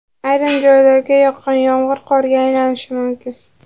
Ayrim joylarga yoqqan yomg‘ir qorga aylanishi mumkin.